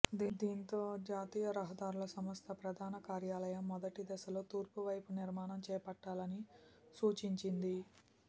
దీంతో జాతీయ రహదారుల సంస్థ ప్రధాన కార్యాలయం మొదటి దశలో తూర్పు వైపు నిర్మాణం చేపట్టాలని సూచించింది